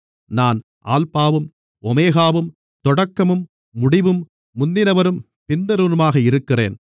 நான் அல்பாவும் ஓமெகாவும் தொடக்கமும் முடிவும் முந்தினவரும் பிந்தினவருமாக இருக்கிறேன்